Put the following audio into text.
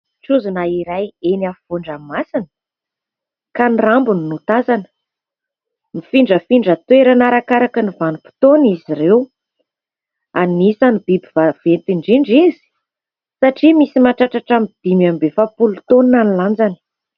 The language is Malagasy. Trozona iray eny afovoan-dranomasina, ka ny rambony no tazana. Mifindrafindra toerana arakaraka ny vanim-potoana izy ireo. Anisan'ny biby vaventy indrindra izy satria misy mahatratra hatramin'ny dimy amby efapolo taonina ny lanjany.